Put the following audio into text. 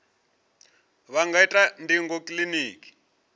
vha nga ita ndingo kiliniki